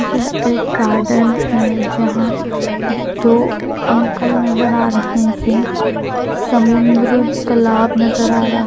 यह एक गार्डन है जहां दो अंकल नजर आ रहे हैं समुन्द्र तालाब नजर आ रहा--